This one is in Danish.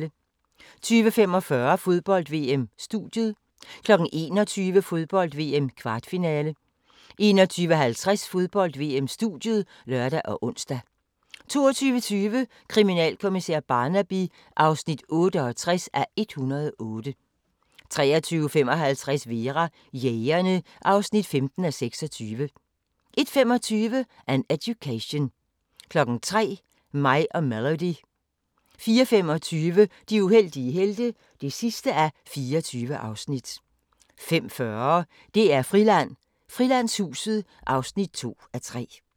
20:45: Fodbold: VM - studiet 21:00: Fodbold: VM - kvartfinale 21:50: Fodbold: VM - studiet (lør og ons) 22:20: Kriminalkommissær Barnaby (68:108) 23:55: Vera: Jægerne (15:26) 01:25: An Education 03:00: Mig og Melody 04:25: De uheldige helte (24:24) 05:40: DR-Friland: Frilandshuset (2:3)